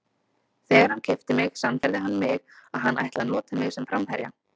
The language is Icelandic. Þegar hann keypti mig sannfærði hann mig að hann ætlaði að nota mig sem framherja.